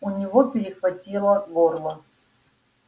у него перехватило горло